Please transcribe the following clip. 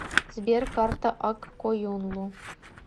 сбер карта ак коюнлу